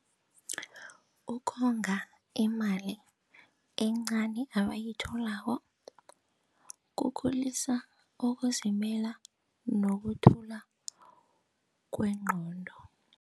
Ukonga imali encani abayitholako kukhulisa ukuzimela nokuthula kwengqondo.